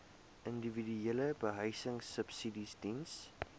individuele behuisingsubsidies diens